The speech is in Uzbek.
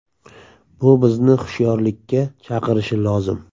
Bu bizni hushyorlikka chaqirishi lozim.